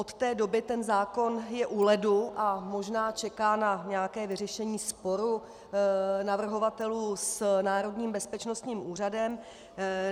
Od té doby ten zákon je u ledu a možná čeká na nějaké vyřešení sporu navrhovatelů s Národním bezpečnostním úřadem.